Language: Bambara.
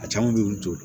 A caman bɛ yen olu t'o